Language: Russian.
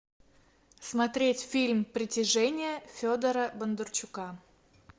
смотреть фильм притяжение федора бондарчука